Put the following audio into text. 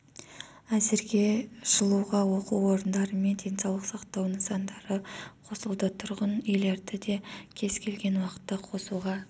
әзірге жылуға оқу орындары мен денсаулық сақтау нысандары қосылды тұрғын үйлерді де кез келген уақытта қосуға